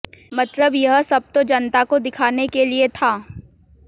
मतलब यह सब तो जनता को दिखाने के लिए था